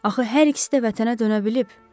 Axı hər ikisi də vətənə dönə bilib.